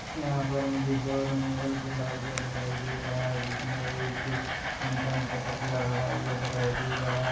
यहाँ पर मुझे शोरूम मॉल खुला हुआ दिखाई दे रहा है जिसमे एक इंसान का पुतला खड़ा हुआ दिखाई दे रहा--